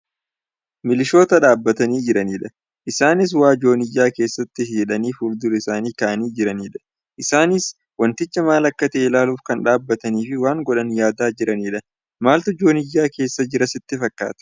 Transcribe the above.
Milishoota dhaabatanii jiranidha. Isaanis waa jooniyyaa keessatti hihidhanii fuldura isaanii kaa'anii jiranidha. Isaanis wanticha maal akka ta'e ilaaluuf kan dhaabataniifi waan godhan yaadaa jiranidha. Maaltu jooniyyaa keessa jira sitti fakkaataa?